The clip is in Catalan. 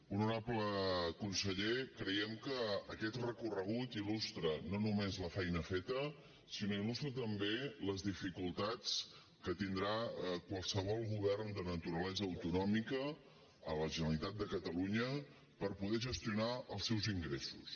honorable conseller creiem que aquest recorregut il·lustra no només la feina feta sinó que il·lustra també les dificultats que tindrà qualsevol govern de naturalesa autonòmica a la generalitat de catalunya per poder gestionar els seus ingressos